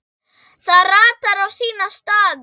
Það ratar á sína staði.